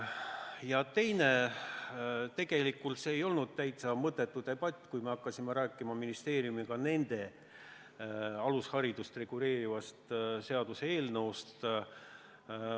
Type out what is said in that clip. Ja teiseks, tegelikult see ei olnud täitsa mõttetu debatt, kui me hakkasime ministeeriumiga rääkima nende alusharidust reguleerivast seaduseelnõust.